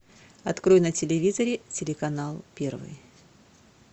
открой на телевизоре телеканал первый